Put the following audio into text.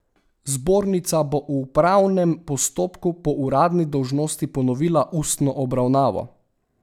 Zbornica bo v upravnem postopku po uradni dolžnosti ponovila ustno obravnavo.